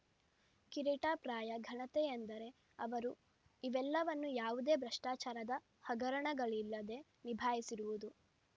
ಕಿರೀಟಪ್ರಾಯ ಘನತೆಯೆಂದರೆ ಅವರು ಇವೆಲ್ಲವನ್ನೂ ಯಾವುದೇ ಭ್ರಷ್ಟಾಚಾರದ ಹಗರಣಗಳಿಲ್ಲದೆ ನಿಭಾಯಿಸಿರುವುದು